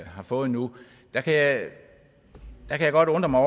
har fået nu kan jeg godt undre mig